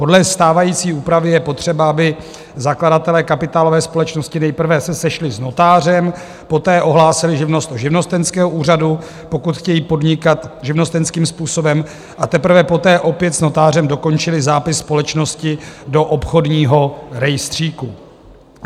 Podle stávající úpravy je potřeba, aby zakladatelé kapitálové společnosti nejprve se sešli s notářem, poté ohlásili živnost u živnostenského úřadu, pokud chtějí podnikat živnostenským způsobem, a teprve poté opět s notářem dokončili zápis společnosti do obchodního rejstříku.